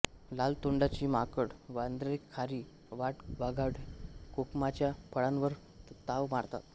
लाल तोंडाची माकड वानरे खारी वाटवाघळे कोकमाच्या फळांवर ताव मारतात